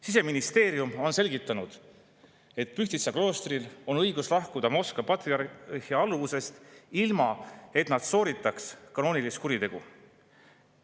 Siseministeerium on selgitanud, et Pühtitsa kloostril on õigus lahkuda Moskva patriarhaadi alluvusest, ilma et nad sooritaks kanoonilist kuritegu.